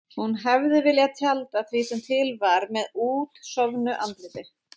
Hún hefði viljað tjalda því sem til var með útsofnu andliti.